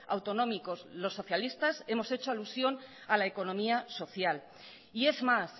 autonómicos los socialistas hemos hecho alusión a la economía social y es más